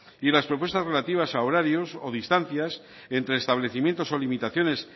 y en las propuestas relativas a horarios o distancias entre establecimientos o limitaciones